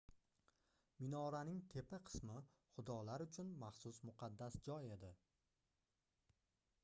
minoraning tepa qismi xudolar uchun maxsus muqaddas joy edi